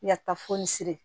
Yata fɔ ni siri